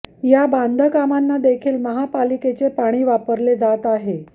त्या बांधकामांना देखील महापालिकेचे पाणी वापरले जात आहे